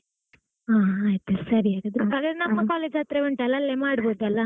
ಹಾ ಆಯ್ತ್ ಆಯ್ತ್ಸರಿ ಹಾಗಾದ್ರೆ ಹಾಗಾದ್ರೆ ನಮ್ಮ college ಹತ್ತಿರ ಉಂಟಲ್ಲ ಅಲ್ಲೇ ಮಾಡಬಹುದಲ್ಲಾ?